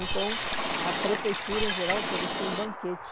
Então, a Prefeitura, em geral, oferecia um banquete.